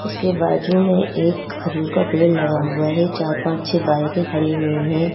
इसके बाजू में एक खजूर का पेड़ लगा हुआ है। चार पांच छे बाईके खड़ी हुई है।